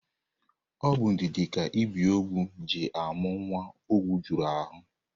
Ọ bụ ndidi ka ebiogwu ji amụ nwa ogwu juru ahụ.